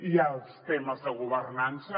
hi ha els temes de governança